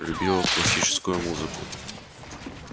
любила классическую музыку